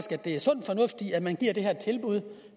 er sund fornuft i at man giver det her tilbud